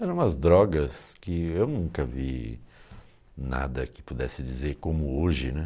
Eram umas drogas que eu nunca vi nada que pudesse dizer como hoje, né?